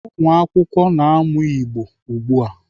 Ụmụakwụkwọ na-amụ Igbo ugbu a.